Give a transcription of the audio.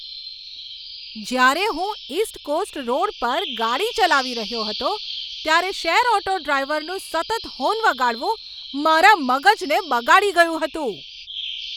જ્યારે હું east coast road પર ગાડી ચલાવી રહ્યો હતો, ત્યારે શેર ઓટો ડ્રાઈવરનું સતત હોર્ન વગાડવું મારા મગજને બગાડી ગયું હતું.